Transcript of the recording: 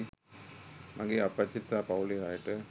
මගේ අප්පච්චිට සහ පවුලේ අයට.